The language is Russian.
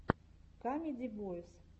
камеди бойз